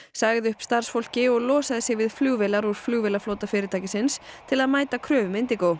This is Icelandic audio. sagði upp starfsfólki og losaði sig við flugvéla r úr flugvélaflota fyrirtækisins til að mæta kröfum